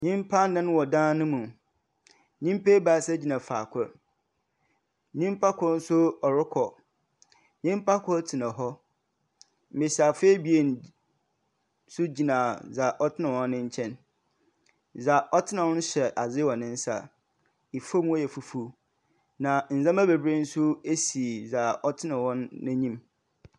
Nnyimpa anan wɔ dan no mu. Nnypa ebaasa gyina faa kor. Nnyimpa kor nso ɔrekɔ. Nnyimpa kor tena hɔ, mbesiafo abien nso gyina dza ɔtena hɔ no nkyɛn. Dza ɔtena hɔ no kyɛ adze wɔ ne nsa. Fam hɔ yɛ fufuw. Na ndzema bebree nso si dza ɔtena hɔ no n'enyim.